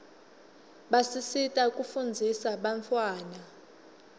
basisita kufunzisa bantfwana